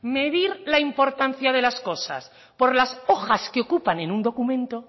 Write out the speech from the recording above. medir la importancia de las cosas por las hojas que ocupan en un documento